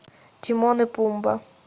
тимон и пумба